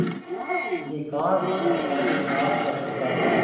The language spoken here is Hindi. अधिकांश तरकारी साफ कर चुका था